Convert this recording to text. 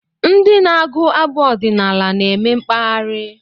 Ndị na-agụ abụ ọdinaala na-eme mkpaghari